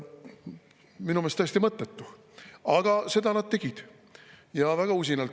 Minu meelest täiesti mõttetu, aga seda nad tegid ja väga usinalt.